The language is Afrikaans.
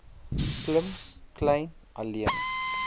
klim kleyn alleen